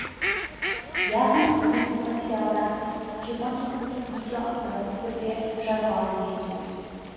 яғни негізгі материалдан тыс жиырма секундтық видео автоматты түрде жазылады деген сөз